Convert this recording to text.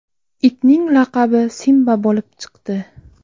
Itning laqabi Simba bo‘lib chiqdi.